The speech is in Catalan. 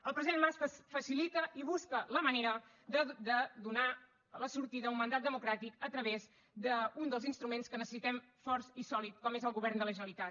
el president mas facilita i busca la manera de donar la sortida a un mandat democràtic a través d’un dels instruments que necessitem fort i sòlid com és el govern de la generalitat